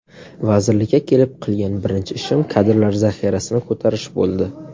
Vazirlikka kelib qilgan birinchi ishim kadrlar zaxirasini ko‘tarish bo‘ldi.